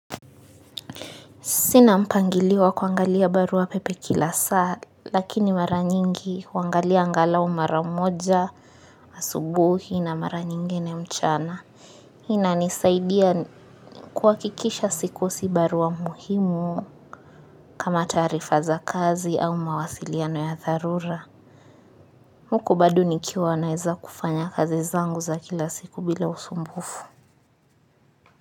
Sina mpangilio wa kuangalia barua pepe kila saa lakini mara nyingi huangalia angalau mara moja, asubuhi na mara nyingine mchana. Hii inanisaidia kuhakikisha sikosi barua muhimu kama taarifa za kazi au mawasiliano ya dharura. Huko bado nikiwa naeza kufanya kazi zangu za kila siku bila usumbufu.